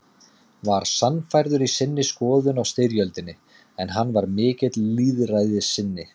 var sannfærður í sinni skoðun á styrjöldinni, en hann var mikill lýðræðissinni.